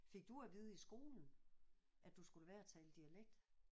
Fik du at vide i skolen at du skulle lade være at tale dialekt?